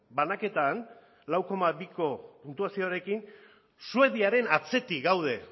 banaketan lau koma biko puntuazioarekin suediaren atzetik gaude